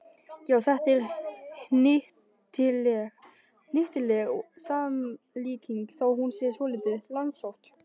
Já, þetta er hnyttileg samlíking þó hún sé svolítið langsótt.